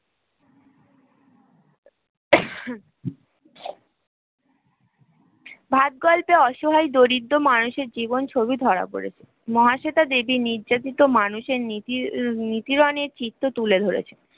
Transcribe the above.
ভাত গল্পে অসহায় দরিদ্র মানুষের জীবন ছবি ধরা পড়েছে মহাশ্বেতা দেবী নির্যাতিত মানুষের নেফ্রনের চিত্র তুলে ধরেছে